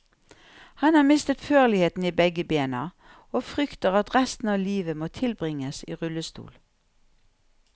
Han har mistet førligheten i begge bena og frykter at resten av livet må tilbringes i rullestol.